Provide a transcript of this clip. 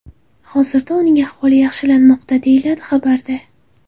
Hozirda uning ahvoli yaxshilanmoqda”, deyiladi xabarda.